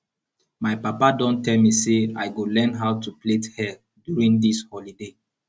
my papa don tell me say i go learn how to plait hair during dis holiday